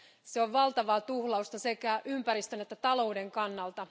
Se on valtavaa tuhlausta sekä ympäristön että talouden kannalta.